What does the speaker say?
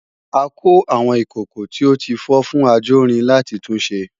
a kó àwọn ìkòkò tí ó tí fọ́ fún ajórin láti tun ṣe